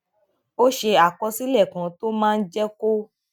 ó ṣe àkọsílè kan tó máa jé kó